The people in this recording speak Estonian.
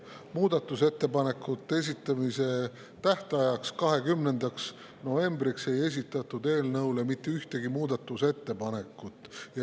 Muudatusettepanekute esitamise tähtajaks, 20. novembriks ei esitatud eelnõu kohta mitte ühtegi muudatusettepanekut.